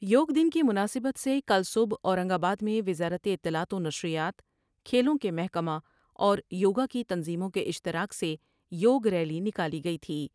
یوگ دن کی مناسبت سے کل صبح اورنگ آباد میں وزارت اطلاعات ونشریات ، کھیلوں کے محکمہ اور یوگا کی تنظیموں کے اشتراک سے یوگ ریلی نکالی گئی تھی ۔